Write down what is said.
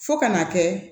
Fo ka n'a kɛ